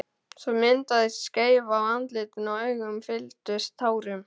Svo myndaðist skeifa á andlitinu og augun fylltust tárum.